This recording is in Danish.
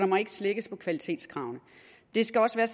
må ikke slækkes på kvalitetskravene det skal også være